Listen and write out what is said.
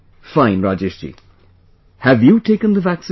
Fine Rajesh ji, have you taken the vaccine